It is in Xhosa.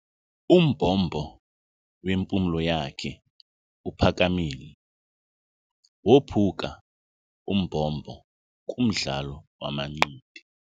Umbombo lwempumlo yakhe uphakamile. Wophuka umbombo kumdlalo wamanqindi.